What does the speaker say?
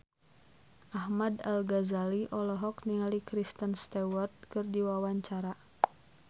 Ahmad Al-Ghazali olohok ningali Kristen Stewart keur diwawancara